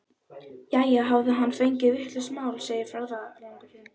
Jæja, hafði hann fengið vitlaust mál, segir ferðalangur.